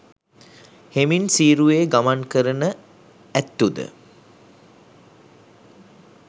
හෙමින් සීරුවේ ගමන් කරන ඇත්තු ද